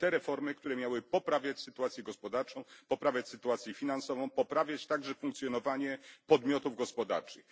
O te reformy, które miały poprawić sytuację gospodarczą, sytuację finansową, a także funkcjonowanie podmiotów gospodarczych.